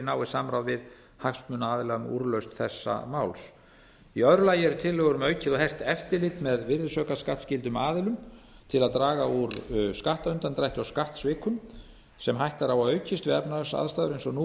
náið samráð við hagsmunaaðila um úrlausn þessa máls í öðru lagi eru tillögur um aukið og hert eftirlit með virðisaukaskattsskyldum aðilum til að draga úr skattundandrætti og skattsvikum sem hætta er á að aukist við efnahagsaðstæður eins og nú